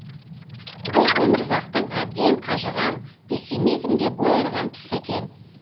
бұл өмірзақтың әбден қажыған пессимизмге бой ұрған тұсы екен